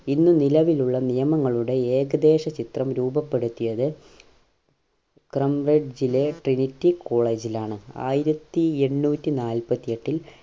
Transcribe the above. ഇന്ന് നിലവിലുള്ള നിയമങ്ങളുടെ ഏകദേശ ചിത്രം രൂപപ്പെടുത്തിയത് trinity college ലാണ് ആയിരത്തി എണ്ണൂറ്റി നാൽപ്പത്തി എട്ടിൽ